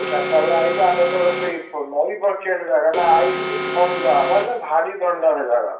ଚାରିଟା ବେଳେ ଆଇଲୁ ଆମେ ଯେତେବେଳେ ସେଇ, ନଈ ପାଖରେ ସେ ଜାଗା ନା, ଆଇଲୁ, ଯେ ଥଣ୍ଡା ମାନେ ଭାରି ଥଣ୍ଡା ଭଳିଆ ବା।